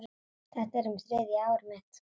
Þetta er þriðja árið mitt.